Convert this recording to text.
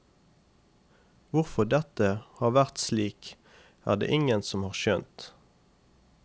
Hvorfor dette har vært slik, er det ingen som har skjønt.